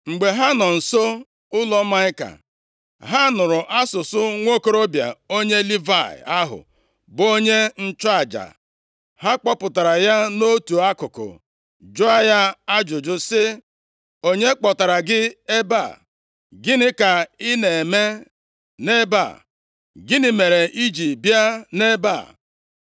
Mgbe ha nọ nso ụlọ Maịka, ha nụrụ asụsụ nwokorobịa onye Livayị ahụ bụ onye nchụaja. Ha kpọpụtara ya nʼotu akụkụ jụọ ya ajụjụ sị, “Onye kpọtara gị ebe a? Gịnị ka ị na-eme nʼebe a? Gịnị mere i ji bịa nʼebe a?”